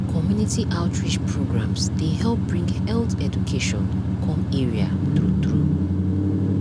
community outreach programs dey help bring health education come area true true